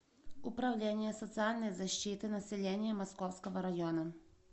управление социальной защиты населения московского района